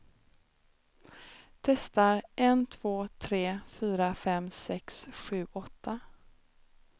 Testar en två tre fyra fem sex sju åtta.